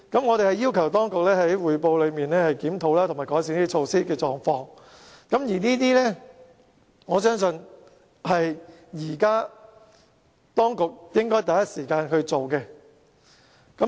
我們要求當局在報告裏面，檢討及改善這些措施，我相信這是當局應該第一時間做的。